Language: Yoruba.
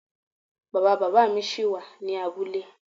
Bàbá bàámi ṣí wà ní abúlé.